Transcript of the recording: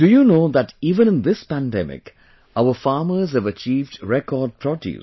Do you know that even in this pandemic, our farmers have achieved record produce